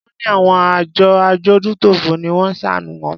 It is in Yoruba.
Wón ní àwọn àjọ adójútòfò ni wón ṣàánù wọn.